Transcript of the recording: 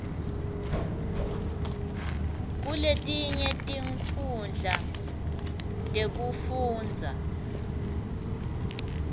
kuletinye tinkhundla tekufundza